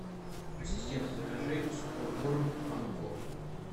ассистент закажи сухой корм пан кот